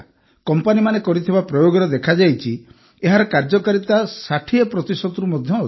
କମ୍ପାନୀମାନେ କରିଥିବା ପ୍ରୟୋଗରେ ଦେଖାଯାଇଛି ଯେ ଏହାର କାର୍ଯ୍ୟକାରିତା ୬୦ ପ୍ରତିଶତରୁ ମଧ୍ୟ ଅଧିକ